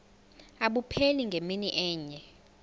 abupheli ngemini enye